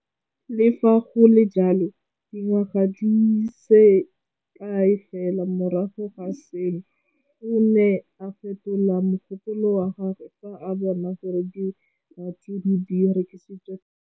Le fa go le jalo, dingwaga di se kae fela morago ga seno, o ne a fetola mogopolo wa gagwe fa a bona gore diratsuru di rekisiwa thata.